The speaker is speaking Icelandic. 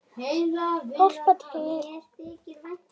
Hjálpað til!